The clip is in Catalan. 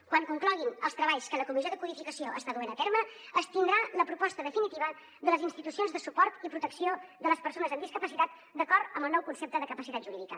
quan concloguin els treballs que la comissió de codificació està duent a terme es tindrà la proposta definitiva de les institucions de suport i protecció de les persones amb discapacitat d’acord amb el nou concepte de capacitat jurídica